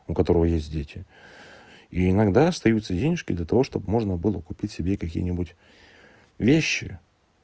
у которого есть дети и иногда остаются денежки для того чтобы можно было купить себе какие-нибудь вещи